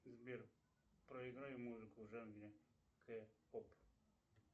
сбер проиграй музыку в жанре к поп